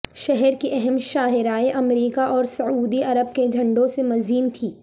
شہر کی اہم شاہرائیں امریکہ اور سعودی عرب کے جھنڈوں سے مزین تھیں